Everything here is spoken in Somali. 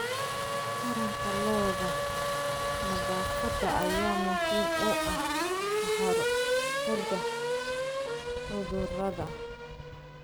Taranta lo'da, nadaafadda ayaa muhiim u ah ka hortagga cudurrada.